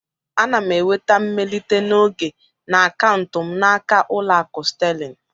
Ana m enweta mmelite n'oge na akaụntụ m n'aka Ụlọakụ Sterling